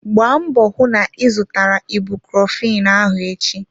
Gbaa mbọ hụ na ị zụtara ibucrofen ahụ echi!